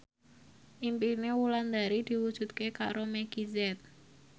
impine Wulandari diwujudke karo Meggie Z